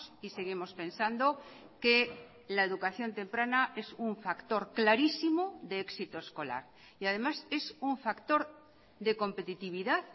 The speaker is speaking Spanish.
y seguimos pensando que la educación temprana es un factor clarísimo de éxito escolar y además es un factor de competitividad